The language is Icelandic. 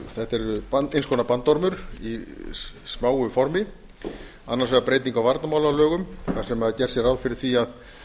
þetta er eins konar bandormur í smáu formi annars vegar breyting á varnarmálalögum þar sem gert er ráð fyrir því að